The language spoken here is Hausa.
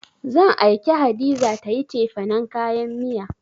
Zan aike Hadiza ta yi cefanen kayan miya.